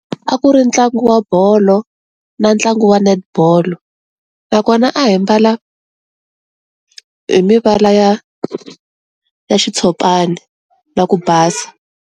A ku ri ntlangu wa bolo na ntlangu wa netball nakona a hi mbala hi mivala ya ya xitshopana na ku basa.